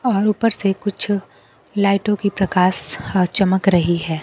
और ऊपर से कुछ लाइटों की प्रकाश ह चमक रही हैं।